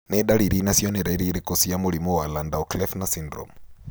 Nĩ ndariri na cionereria irĩkũ cia mũrimũ wa Landau Kleffner syndrome?